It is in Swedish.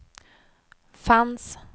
fanns